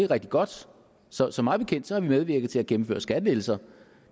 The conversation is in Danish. rigtig godt så så mig bekendt har vi medvirket til at gennemføre skattelettelser